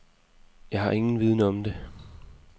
Jeg har ingen viden om det.